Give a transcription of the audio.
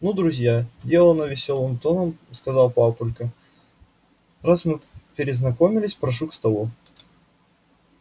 ну друзья делано весёлым тоном сказал папулька раз мы перезнакомились прошу к столу